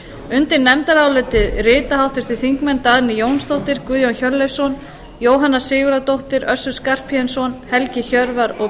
undir nefndarálitið rita háttvirtir þingmenn dagný jónsdóttir guðjón hjörleifsson jóhanna sigurðardóttir össur skarphéðinsson helgi hjörvar og